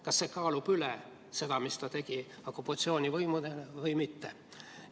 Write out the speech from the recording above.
Kas see kaalub üle selle, mida ta tegi okupatsioonivõimude heaks või mitte?